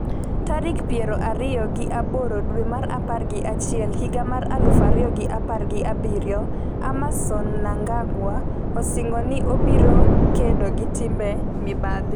tarik piero ariyo gi aboro dwe mar apar gi achiel higa mar aluf ariyo gi apar gi abiriyo, Emmerson Mnangagwa osingo ni obiro kedo gi timbe mibadhi